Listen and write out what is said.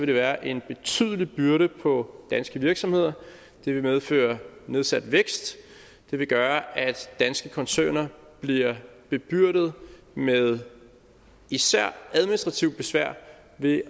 det være en betydelig byrde på danske virksomheder det vil medføre nedsat vækst og det vil gøre at danske koncerner bliver bebyrdet med især administrativt besvær ved